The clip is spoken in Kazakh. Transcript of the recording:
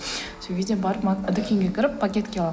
сол кезде барып дүкенге кіріп пакетке аламын